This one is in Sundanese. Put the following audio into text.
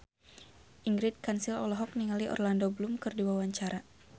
Ingrid Kansil olohok ningali Orlando Bloom keur diwawancara